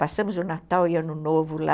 Passamos o Natal e o Ano Novo lá.